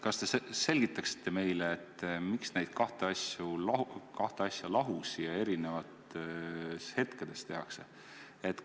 Kas te selgitaksite meile, miks neid kahte asja lahus ja eri hetkedel tehakse?